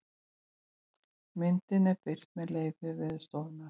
myndin er birt með leyfi veðurstofunnar